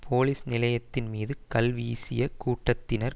police நிலையத்தின் மீது கல் வீசிய கூட்டத்தினர்